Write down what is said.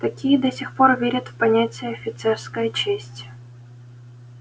такие до сих пор верят в понятие офицерская честь